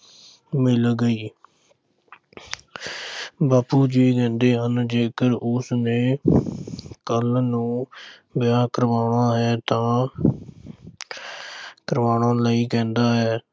ਮਿਲ ਗਈ। ਬਾਪੂ ਜੀ ਕਹਿੰਦੇ ਹਨ ਕਿ ਜੇਕਰ ਉਸਨੇ ਕੱਲ੍ਹ ਨੂੰ ਵਿਆਹ ਕਰਵਾਉਣਾ ਹੈ ਤਾਂ ਕਰਵਾਉਣ ਲਈ ਕਹਿੰਦਾ ਹੈ।